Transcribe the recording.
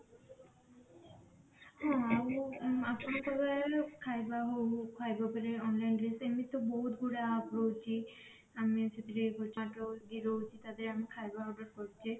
ଆଉ ଆପଣ କହିବା ଖାଇବା ହଉ ଖାଇବା ପରେ online ରେ ସେମିତି ତ ବହୁତ ଗୁଡା app ରହୁଛି ଆମେ ସେଥିରେ ରହୁଛି ତା ଦେହରେ ଆମେ ଖାଇବା order କରୁଛେ